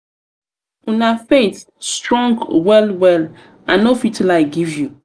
una faith strong well well strong well well i no fit lie give you.